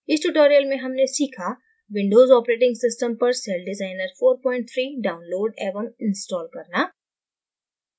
इस tutorial में हमने सीखाwindows operating system पर सेलडिज़ाइनर 43 download एवं install करना